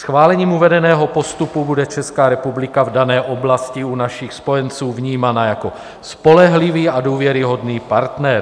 Schválením uvedeného postupu bude Česká republika v dané oblasti u našich spojenců vnímána jako spolehlivý a důvěryhodný partner.